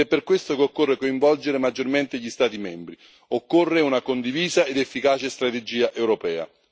Ed è per questo che occorre coinvolgere maggiormente gli Stati membri. Occorre una condivisa ed efficace strategia europea.